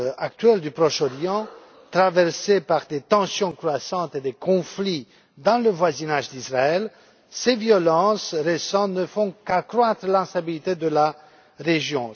actuel du Proche Orient, traversé par des tensions croissantes et des conflits dans le voisinage d'Israël, ces violences récentes ne font qu'accroître l'instabilité de la région.